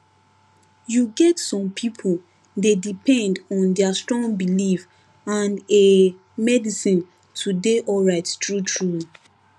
you get some people dey depend on their strong belief and ehh medicine to dey alright truetrue